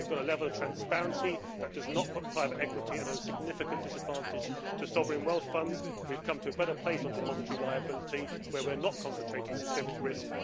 We have a level of transparency that does not put private equity at a significant disadvantage compared to sovereign wealth funds, and we have come to a better place on depository liability, where we are not concentrating systemic risk.